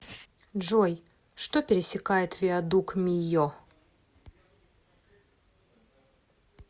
джой что пересекает виадук мийо